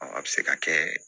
a bɛ se ka kɛ